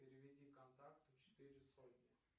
переведи контакту четыре сотни